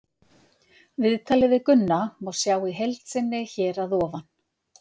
Viðtalið við Gunna má sjá í heild sinni hér að ofan.